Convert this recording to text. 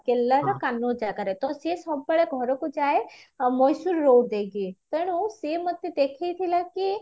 କେରଳାର ଜାଗାରେ ତ ସିଏ ସବୁବେଳେ ଘରକୁ ଯାଏ ଆଉ ମହେଶ୍ଵର road ଦେଇକି ତେଣୁ ସିଏ ମତେ ଦେଖେଇଥିଲା କି